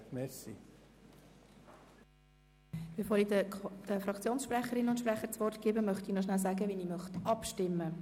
Bevor ich den Fraktionssprecherinnen und sprechern das Wort erteile, möchte ich noch über das Abstimmungsprozedere informieren.